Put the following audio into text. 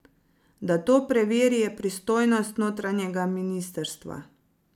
Da to preveri, je pristojnost notranjega ministrstva.